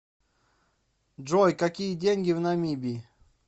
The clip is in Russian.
джой какие деньги в намибии